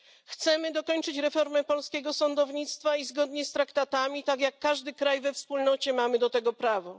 Chcemy dokończyć reformy polskiego sądownictwa i zgodnie z traktatami, tak jak każdy kraj we Wspólnocie, mamy do tego prawo.